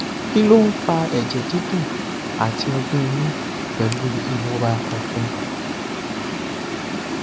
kí ló ń fa ẹjẹ dídùn àti ọgbẹ ẹnu pẹlú ìrora ọfun